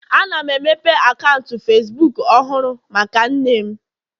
Ana m emepe akaụntụ Facibuku ọhụrụ maka nne m